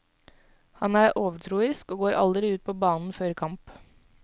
Han er overtroisk og går aldri ut på banen før kamp.